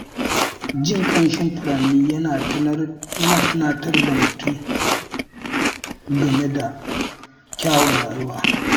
Jin ƙamshin furanni yana tunatar da mutum game da kyawun rayuwa.